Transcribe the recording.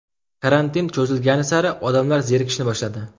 Karantin cho‘zilgani sari odamlar zerikishni boshladi.